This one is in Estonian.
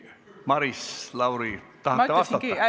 Maris Lauri, kas tahate vastata?